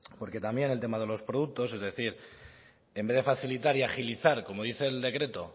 porque también el tema de los productos es decir en vez de facilitar y agilizar como dice el decreto